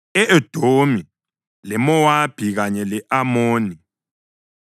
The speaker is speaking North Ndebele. e-Edomi, leMowabi kanye le-Amoni;